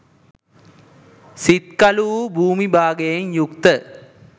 සිත්කළු වූ භුමි භාගයෙන් යුක්ත